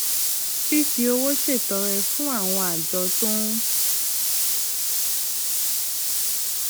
fífi owó ṣètọrẹ fún àwọn àjọ tó ń